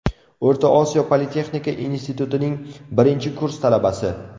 O‘rta Osiyo politexnika institutining birinchi kurs talabasi.